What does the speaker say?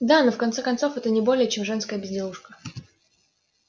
да но в конце концов это не более чем женская безделушка